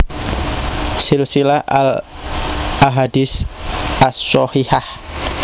Silsilah al Ahadits ash Shahihah